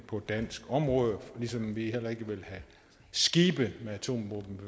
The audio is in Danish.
på dansk område ligesom vi heller ikke vil have skibe med atomvåben